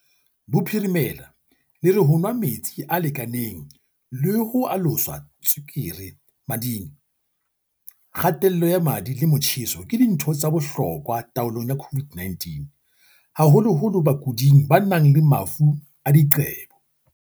Bophirimela le re ho nwa metsi a lekaneng le ho alosa tswekere e mading, kga-tello ya madi le motjheso ke dintho tsa bohlokwa taolong ya COVID-19, haholoholo bakuding ba nang le mafu a diqebo.